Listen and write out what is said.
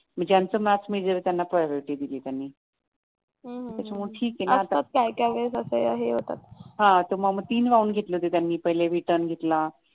म्हणजे ज्यांचं maths major आहे त्यांना प्रायोरिटी दिलीये त्यांनी हां मग तीन राउंड घेतले होते त्यांनी पहिला रिटन घेतला